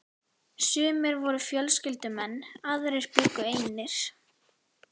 Sumir voru fjölskyldumenn, aðrir bjuggu einir.